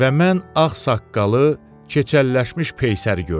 Və mən ağ saqqalı, keçəlləşmiş peysəri gördüm.